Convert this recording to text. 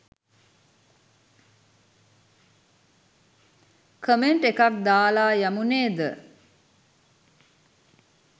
Comment එකක් දාලා යමු නේද?